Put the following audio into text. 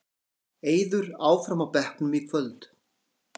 Eiður áfram á bekknum í kvöld